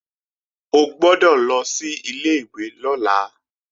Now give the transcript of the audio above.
O gbọ́dọ̀ lọ sí ilé-ìwé lọ́la!